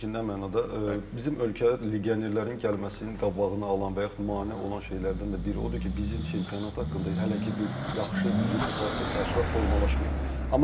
Çünki nə mənada bizim ölkədə legionerlərin gəlməsinin qabağını alan və yaxud mane olan şeylərdən də biri odur ki, bizim çempionat haqqında hələ ki bir yaxşı reputasiya təəssürat formalaşmayıb.